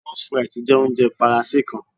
moules frites jẹ ounjẹ Faranse kan